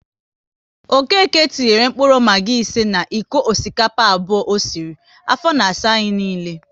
Okéke tinyere mkpụrụ Maggi ise na iko osikapa abụọ o sịrị, afọ na asa anyị niile